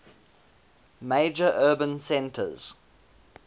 major urban centers